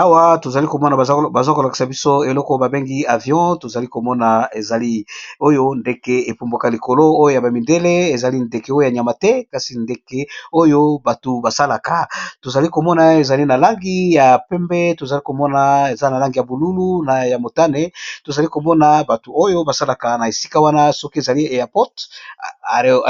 Awa tozali komona baza kolakisa biso eloko babengi avion tozali komona ezali oyo ndeke epumbwaka likolo oyo ya bamidele ezali ndeke oyo ya nyama te kasi ndeke oyo batu basalaka tozali komona ezali na langi ya pembe tozalikomona eza na langi ya bolulu nya motane tozali komona batu oyo basalaka na esika wana soki ezali yapot